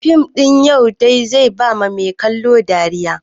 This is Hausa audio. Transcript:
Fim ɗin Yautai zai ba mai kallo dariya.